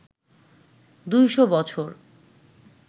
২০০ বছর